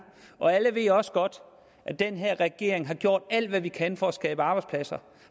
og alle ved også godt at den her regering har gjort alt hvad den kan for at skabe arbejdspladser